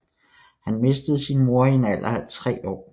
Han mistede sin mor i en alder af tre år